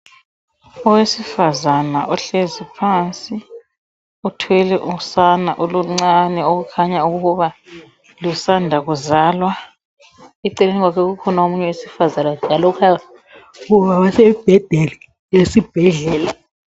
Owesifazana uhlezi phansi uthwele usana oluncane okukhanya ukuba lusanda kuzalwa .Eceleni kwakhe kukhona owesifazana njalo osembedeni wesibhedlela